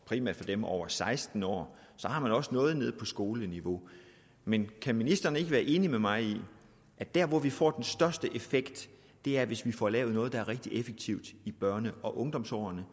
primært for dem over seksten år så har man også noget nede på skoleniveau men kan ministeren ikke være enig med mig i at der hvor vi får den største effekt er hvis vi får lavet noget der er rigtig effektivt i børne og ungdomsårene